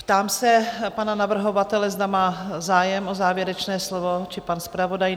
Ptám se pana navrhovatele, zda má zájem o závěrečné slovo, či pan zpravodaj?